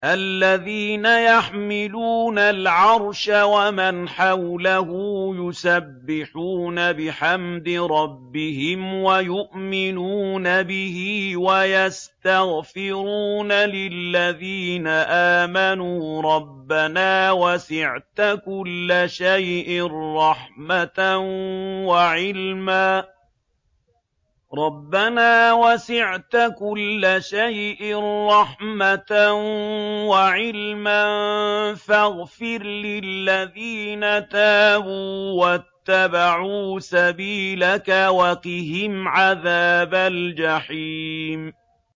الَّذِينَ يَحْمِلُونَ الْعَرْشَ وَمَنْ حَوْلَهُ يُسَبِّحُونَ بِحَمْدِ رَبِّهِمْ وَيُؤْمِنُونَ بِهِ وَيَسْتَغْفِرُونَ لِلَّذِينَ آمَنُوا رَبَّنَا وَسِعْتَ كُلَّ شَيْءٍ رَّحْمَةً وَعِلْمًا فَاغْفِرْ لِلَّذِينَ تَابُوا وَاتَّبَعُوا سَبِيلَكَ وَقِهِمْ عَذَابَ الْجَحِيمِ